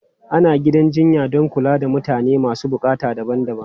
Ana gidan jinya don kula da mutane masu buƙatu daban-daban.